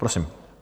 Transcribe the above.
Prosím.